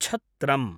छत्रम्